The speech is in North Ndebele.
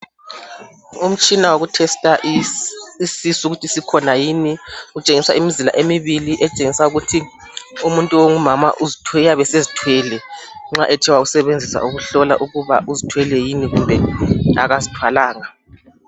Umtshina woku "tester"isisu ukuthi sikhona yini kutshengisa imizila emibili etshengisa ukuthi umuntu ongumama uyabe sezithwele nxa ethe wasebenzisa ukuhlola ukuthi uzithwele yini kumbe akazithwalanga.